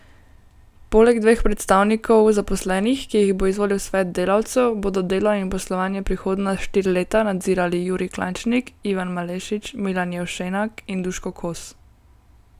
Poleg dveh predstavnikov zaposlenih, ki jih bo izvolil svet delavcev, bodo delo in poslovanje prihodnja štiri leta nadzirali Jurij Klančnik, Ivan Malešič, Milan Jevšenak in Duško Kos.